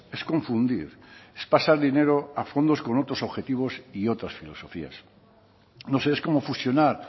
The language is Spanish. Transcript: es confundir es pasar dinero a fondos con otros objetivos y otras filosofías no sé es como fusionar